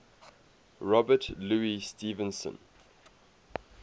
robert louis stevenson